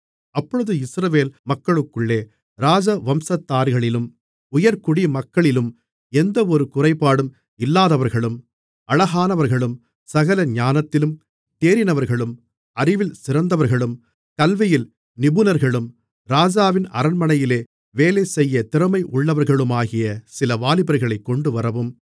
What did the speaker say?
அப்பொழுது இஸ்ரவேல் மக்களுக்குள்ளே ராஜவம்சத்தார்களிலும் உயர்குடிமக்களிலும் எந்தவொரு குறைபாடும் இல்லாதவர்களும் அழகானவர்களும் சகல ஞானத்திலும் தேறினவர்களும் அறிவில் சிறந்தவர்களும் கல்வியில் நிபுணர்களும் ராஜாவின் அரண்மனையிலே வேலைசெய்யத் திறமையுள்ளவர்களுமாகிய சில வாலிபர்களைக் கொண்டுவரவும்